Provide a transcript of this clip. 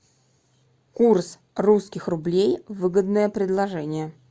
курс русских рублей выгодное предложение